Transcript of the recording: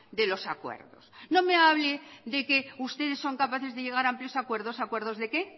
de los acuerdos no me hable de que ustedes son capaces de llegar a amplios acuerdos acuerdos de qué